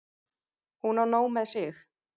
Hún á nóg með sig.